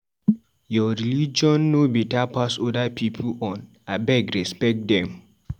Your religion no beta pass other pipu own, abeg respect dem.